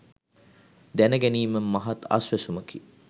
දැනගැනීම මහත් අසවැසුමකි.